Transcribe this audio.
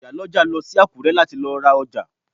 Ìyálọ́jà lọ sí Àkúrẹ́ láti lọ ra ọjà